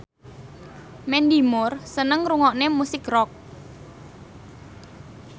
Mandy Moore seneng ngrungokne musik rock